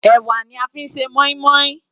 Ẹ̀wà ni a fi ń ṣe moin-moin.